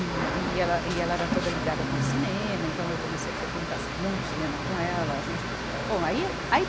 E, e ela, e ela era toda ligada com o cinema, então eu comecei a frequentar muito cinema com ela. A gente, bom, aí, aí